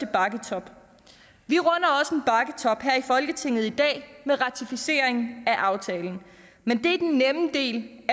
bakketop her i folketinget i dag med ratificeringen af aftalen men det